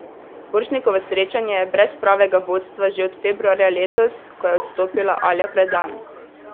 Borštnikovo srečanje je brez pravega vodstva že od februarja letos, ko je odstopila Alja Predan.